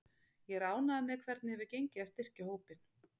Ég er ánægður með hvernig hefur gengið að styrkja hópinn.